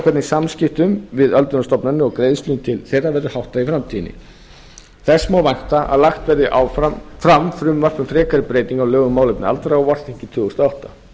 hvernig samskiptum við öldrunarstofnanir og greiðslum til þeirra verður háttað í framtíðinni þess má vænta að lagt verði fram frumvarp um frekari breytingu á lögum um málefni aldraðra á vorþingi tvö þúsund og átta